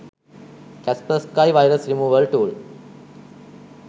kaspersky virus removal tool